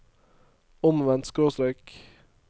omvendt skråstrek